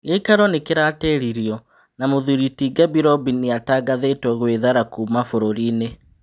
Gĩ ikaro nĩ kĩ ratĩ ririo na mũthũri ti Gabirobi nĩ atangathĩ two gwĩ thara kuma bũrũri-inĩ